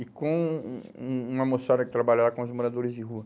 e com um um uma moçada que trabalha lá com os moradores de rua.